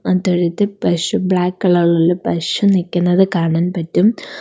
അ തൊഴുത്തിൽ പശു black colour ഇലുള്ള പശു നിൽക്കുന്നത് കാണാൻ പറ്റും.